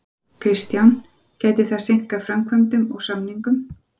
Kristján: Gæti það seinkað framkvæmdum og samningum?